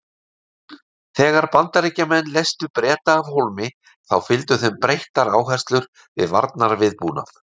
Þegar Bandaríkjamenn leystu Breta af hólmi þá fylgdu þeim breyttar áherslur við varnarviðbúnað.